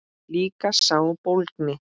Líka sá bólgni.